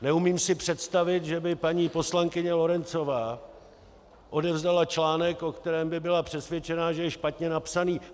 Neumím si představit, že by paní poslankyně Lorencová odevzdala článek, o kterém by byla přesvědčená, že je špatně napsaný.